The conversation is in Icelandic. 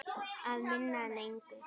Að minna en engu.